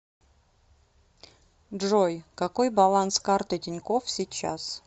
джой какой баланс карты тинькофф сейчас